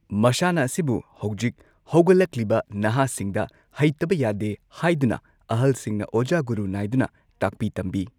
ꯃꯁꯥꯟꯅ ꯑꯁꯤꯕꯨ ꯍꯧꯖꯤꯛ ꯍꯧꯒꯠꯂꯛꯂꯤꯕ ꯅꯍꯥꯁꯤꯡꯗ ꯍꯩꯇꯕ ꯌꯥꯗꯦ ꯍꯥꯏꯗꯨꯅ ꯑꯍꯜꯁꯤꯡꯅ ꯑꯣꯖꯥ ꯒꯨꯔꯨ ꯅꯥꯏꯗꯨꯅ ꯇꯥꯛꯄꯤ ꯇꯝꯕꯤ꯫